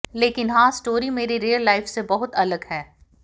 लेकिन हां स्टोरी मेरी रियल लाइफ से बहुत अलग है